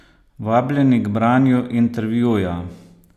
Vabljeni k branju intervjuja!